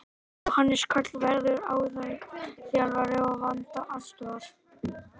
Jóhannes Karl verður aðalþjálfari og Vanda aðstoðar.